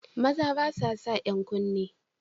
Maza ba sa san 'yan kunne